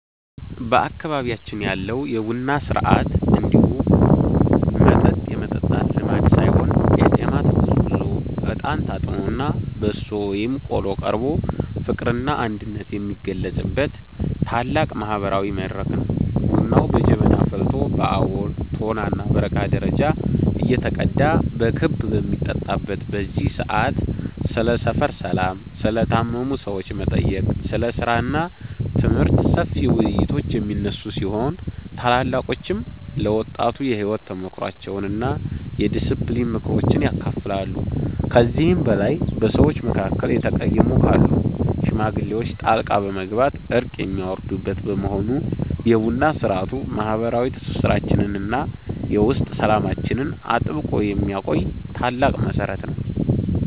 በአካባቢያችን ያለው የቡና ሥርዓት እንዲሁ መጠጥ የመጠጣት ልማድ ሳይሆን ቄጤማ ተጎዝጉዞ፣ እጣን ታጥኖና በሶ ወይም ቆሎ ቀርቦ ፍቅርና አንድነት የሚገለጽበት ታላቅ ማህበራዊ መድረክ ነው። ቡናው በጀበና ፈልቶ በአቦል፣ ቶናና በረካ ደረጃ እየተቀዳ በክብ በሚጠጣበት በዚህ ሰዓት፣ ስለ ሰፈር ሰላም፣ ስለ ታመሙ ሰዎች መጠየቅ፣ ስለ ሥራና ትምህርት ሰፊ ውይይቶች የሚነሱ ሲሆን፣ ታላላቆችም ለወጣቱ የሕይወት ተሞክሯቸውንና የዲስፕሊን ምክሮችን ያካፍላሉ። ከዚህም በላይ በሰዎች መካከል የተቀየሙ ካሉ ሽማግሌዎች ጣልቃ በመግባት እርቅ የሚያወርዱበት በመሆኑ፣ የቡና ሥርዓቱ ማህበረሰባዊ ትስስራችንንና የውስጥ ሰላማችንን አጥብቆ የሚያቆይ ታላቅ መሠረት ነው።